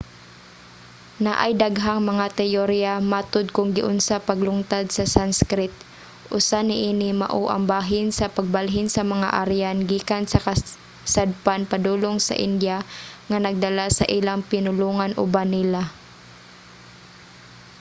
naay daghang mga teyoriya matud kung giunsa paglungtad sa sanskrit. usa niini mao ang bahin sa pagbalhin sa mga aryan gikan sa kasadpan padulong sa india nga nagdala sa ilang pinulongan uban nila